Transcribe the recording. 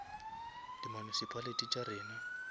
di municipality tša rena